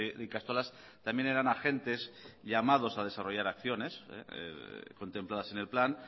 de ikastolas también eran agentes llamados a desarrollar acciones contempladas en el plan